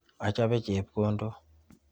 Achope chepkondok.